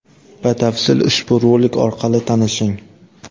Batafsil ushbu rolik orqali tanishing.